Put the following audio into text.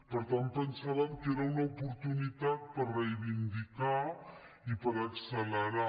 per tant pensàvem que era una oportunitat per reivindicar i per accelerar